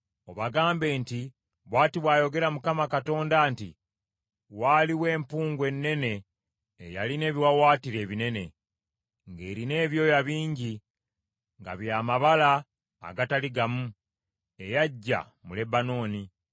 obagambe nti, ‘Bw’ati bw’ayogera Mukama Katonda nti, Waaliwo empungu ennene eyalina ebiwaawaatiro ebinene, ng’erina ebyoya bingi, nga by’amabala agatali gamu, eyajja mu Lebanooni.